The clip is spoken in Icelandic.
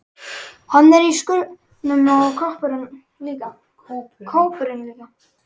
Hann er í skúrnum og kópurinn líka.